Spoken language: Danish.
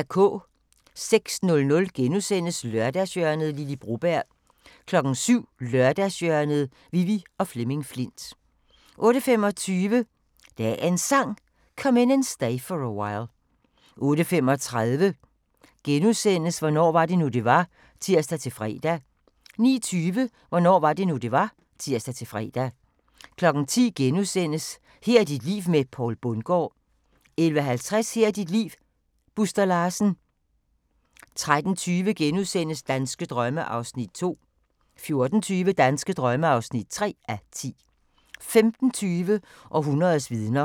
06:00: Lørdagshjørnet - Lily Broberg * 07:00: Lørdagshjørnet: Vivi og Flemming Flindt 08:25: Dagens Sang: Come In And Stay For A While 08:35: Hvornår var det nu, det var? *(tir-fre) 09:20: Hvornår var det nu, det var? (tir-fre) 10:00: Her er dit liv med Poul Bundgaard * 11:50: Her er dit liv - Buster Larsen 13:20: Danske drømme (2:10)* 14:20: Danske drømme (3:10) 15:20: Århundredets vidner